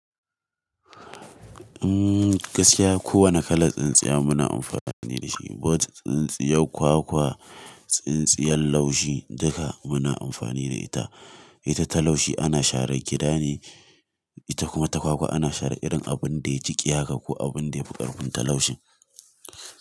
Mm, gaskiya kowane kalar tsintsiya muna amfani da shi. Wac tsintsiyar kwakwa, tsintsiyar laushi duka muna amfani da ita. Ita ta laushi ana sharar gida ne, ita kuma ta kwakwa ana sharar irin abun da ya jiƙe ko abun da ya fi ƙarfin ta laushin.